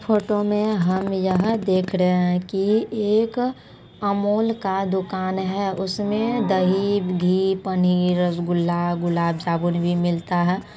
Photo में हमे यह देख रहे है की एक अमूल का दुकान है उसमे दही घी पनीर रसगुल्ला गुलाबजामुन भी मिलता है।